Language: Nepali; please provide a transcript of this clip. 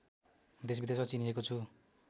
देशविदेशमा चिनिएको छु